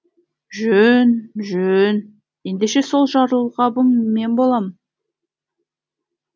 жөн жөн ендеше сол жарылғабың мен болам